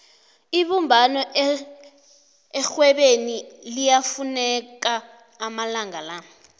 ibumbano erhwebeni liyafuneka amalanga la